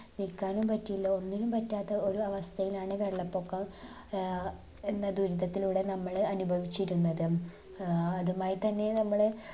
നിക്കാനും പറ്റില്ല ഒന്നിനും പറ്റാത്ത ഒരു അവസ്ഥയിലാണ് വെള്ളപൊക്കം ഏർ എന്ന ദുരിതത്തിലൂടെ നമ്മൾ അനുഭവിച്ചിരുന്നത് ഏർ അതുമായി തന്നെ നമ്മള്